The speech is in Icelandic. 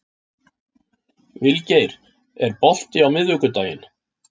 Vilgeir, er bolti á miðvikudaginn?